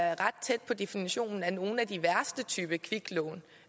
er ret tæt på definitionen af nogle af de værste typer kviklån